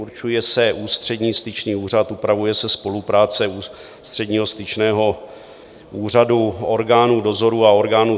Určuje se Ústřední styčný úřad, upravuje se spolupráce Ústředního styčného úřadu orgánů dozoru a orgánů